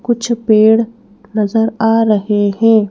कुछ पेड़ नजर आ रहे हैं।